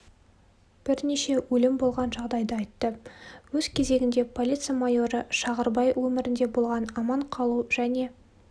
бірнеше өлім болған жағдайды айтты өз кезегінде полиция мойоры шағырбай өмірінде болған аман қалу және